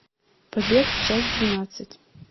побег часть двенадцать